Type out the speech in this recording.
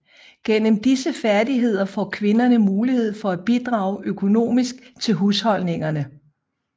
Gennem disse færdigheder får kvinderne mulighed for at bidrage økonomisk til husholdningerne